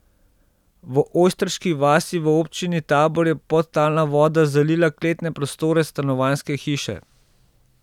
V Ojstriški vasi v občini Tabor je podtalna voda zalila kletne prostore stanovanjske hiše.